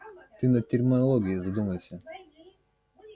ты над терминологией задумайся